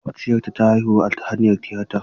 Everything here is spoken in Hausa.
Makwabciyata ta haihu ta hanyar tiyata.